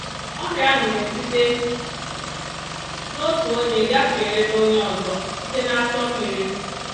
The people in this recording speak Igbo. Ọrịa ahụ na-esite n’otu onye gafere n’onye ọzọ site n’asọ mmiri